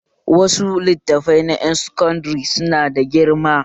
Wasu littafan na ƴan sakandare su na da girma